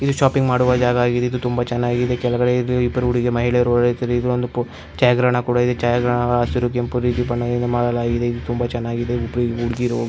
ಇದು ಶಾಪಿಂಗ್ ಮಾಡುವ ಜಾಗ ಆಗಿದೆ ಇದು ತುಂಬ ಚೆನ್ನಾಗಿ ಇದೆ ಕೆಳಗಡೆ ಇಬ್ಬರು ಹುಡಿಗಿ ಮಹಿಳೆಯರು ಛಾಯಾಗ್ರಹಣ ಹಸಿರು ಕೆಂಪು ನೀಲಿ ಬಣ್ಣದಿಂದ ಮಾಡಲಾಗಿದೆ ತುಂಬ ಚೆನ್ನಾಗಿದೆ ಇಬ್ರು ಹುಡುಗೀರು --